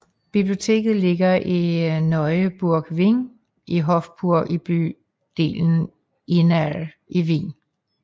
Bibioteket ligger i Neue Burg Wing i Hofburg i bydelen Innere i Wien